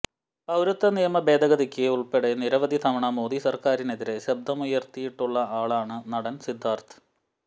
പൌരത്വ നിയമ ഭേദഗതിക്ക് ഉള്പ്പെടെ നിരവധി തവണ മോദി സര്ക്കാറിനെതിരെ ശബ്ദമുയര്ത്തിയിട്ടുള്ള ആളാണ് നടന് സിദ്ധാര്ഥ്